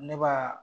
Ne b'a